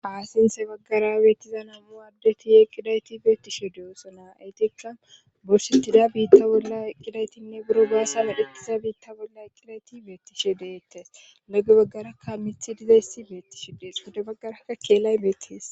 Aasinse baggara beettiza namu addeti yee qidayti beettishe de7o sanaa eytikka borshettida biitta bolla qidaytinne buro gaasa nadhiqkiza biitta bolla qidayti beettishe deettes lage baggarakka mithi dizassi beettishe dee ude baggaraka keellay beettees